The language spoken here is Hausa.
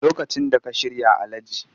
Lokacin da ka shirya Alhaji